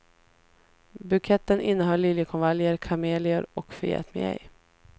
Buketten innehöll liljekonvaljer, kamelior och förgätmigej.